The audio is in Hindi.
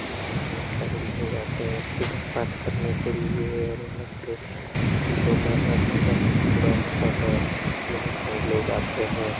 यहाँ पे बहुत सारे लोग आते हैं पूजा पाठ करने के लिए और यहाँ पे जो माँगा जाता है वो पूरा होता है बहुत सारे लोग आते हैं।